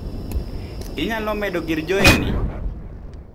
Inyalo medo gir Joey ni?